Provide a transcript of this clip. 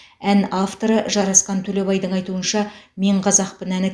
ән авторы жарасқан төлебайдың айтуынша мен қазақпын әні